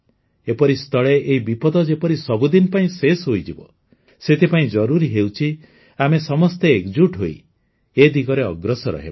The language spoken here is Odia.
ଏପରି ସ୍ଥଳେ ଏହି ବିପଦ ଯେପରି ସବୁଦିନ ପାଇଁ ଶେଷ ହୋଇଯିବ ସେଥିପାଇଁ ଜରୁରୀ ହେଉଛି ଆମେ ସମସ୍ତେ ଏକଜୁଟ ହୋଇ ଏ ଦିଗରେ ଅଗ୍ରସର ହେବା